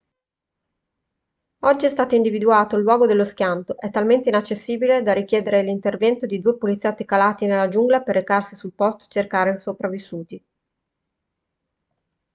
oggi è stato individuato il luogo dello schianto è talmente inaccessibile da richiedere l'intervento di due poliziotti calati nella giungla per recarsi sul posto e cercare sopravvissuti